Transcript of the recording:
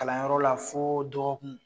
Kalanyɔrɔla fo dɔgɔkun